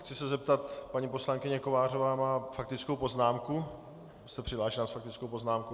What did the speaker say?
Chci se zeptat - paní poslankyně Kovářová má faktickou poznámku, jste přihlášená s faktickou poznámkou?